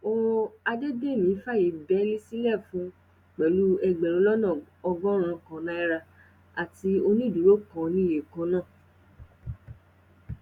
ó àdédémí fààyè bẹẹlí sílẹ fún un pẹlú ẹgbẹrún lọnà ọgọrùnún kan náírà àti onídùúró kan níye kan náà